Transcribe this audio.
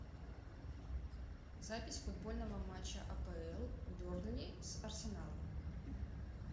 запись футбольного матча апл бернли с арсеналом